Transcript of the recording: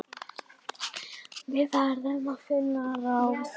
Við verðum að finna ráð.